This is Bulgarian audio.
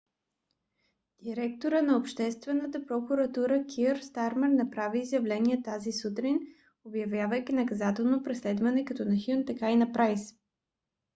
директорът на обществената прокуратурата кийър стармер направи изявление тази сутрин обявявайки наказателното преследване както на хюн така и на прайс